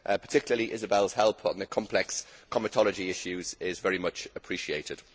In particular, Isobel's help on the complex comitology issues is very much appreciated.